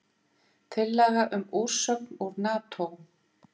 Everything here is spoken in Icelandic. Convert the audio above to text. Tillaga um úrsögn úr Nató